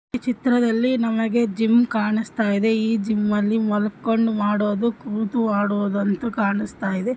ಈ ಚಿತ್ರದಲ್ಲಿ ನಮಗೆ ಜಿಮ್ ಕಾಣಿಸ್ತಾ ಇದೆ ಈ ಜಿಮ್ಮಲ್ಲಿ ಮೊಲಕೊಂಡ ಮಾಡೋದು ಕೂತು ಆಡುವುದಂತೂ ಕಾಣಸ್ತಾ ಇದೆ .